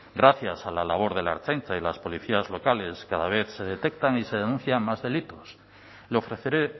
gracias a la labor de la ertzaintza y las policías locales cada vez se detectan y se denuncian más delitos le ofreceré